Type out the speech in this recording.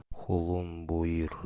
хулун буир